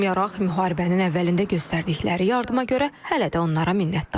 Buna baxmayaraq, müharibənin əvvəlində göstərdikləri yardıma görə hələ də onlara minnətdaram.